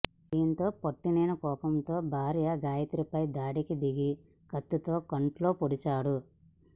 దీంతో పట్టలేని కోపంతో భార్య గాయత్రిపై దాడికి దిగి కత్తితో కంట్లో పొడిచాడు